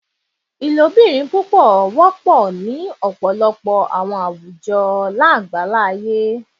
Ilobirin pupọ jẹ wọpọ ni ọpọlọpọ awọn awujọ aṣa agbaye